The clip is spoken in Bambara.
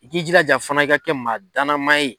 I k'i jilaja fana i ka kɛ maa danamaa ye